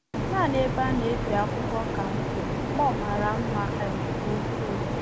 Naanị ebe a na-ebi akwụkwọ ka m hụrụ, ma ọ mara mma um nke ukwuu.